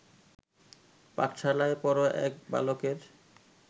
পাঠশালার পড়ো এক বালকের